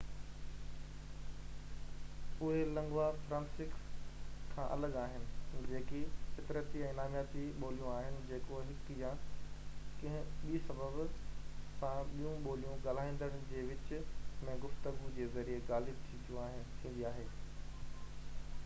اهي lingua francas کان الڳ آهن جيڪي فطرتي ۽ نامياتي ٻوليون آهن جيڪو هڪ يا ڪنهن ٻي سبب سان ٻيون ٻوليون ڳالهائيندڙن جي وچ م گفتگو جي ذريعي غالب ٿيندي آهي